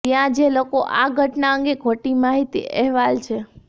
ત્યાં જે લોકો આ ઘટના અંગે ખોટી માહિતી અહેવાલ છે